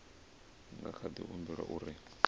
nga kha di humbela uri